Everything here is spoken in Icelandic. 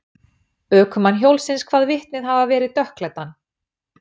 Ökumann hjólsins kvað vitnið hafa verið dökkklæddan.